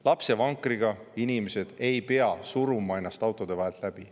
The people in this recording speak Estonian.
Lapsevankriga inimesed ei pea suruma ennast autode vahelt läbi.